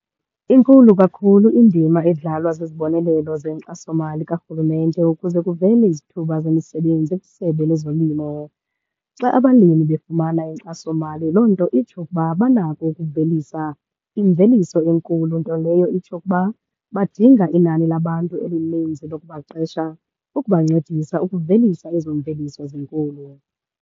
Inkulu kakhulu indima edlalwa zizibonelelo zenkxasomali karhulumente ukuze kuvele izithuba zemisebenzi kwisebe lezolimo. Xa abalimi befumana inkxasomali, loo nto itsho ukuba banako ukuvelisa imveliso enkulu. Nto leyo itsho ukuba badinga inani labantu elininzi lokubaqesha ukubancedisa ukuvelisa ezo mveliso zinkulu.